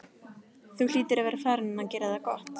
Þú hlýtur að vera farinn að gera það gott!